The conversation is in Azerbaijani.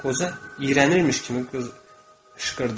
Qoca iyrənirmiş kimi qışqırdı.